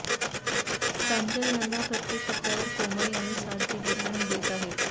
प्रांजल यांना प्रत्येक टप्प्यावर कोमल यांनी साथ दिली आणि देत आहेत